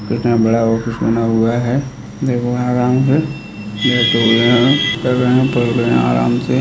इसमें बड़ा ऑफिस बना हुआ है पढ़ रहे हैं पढ़ रहे है आराम से --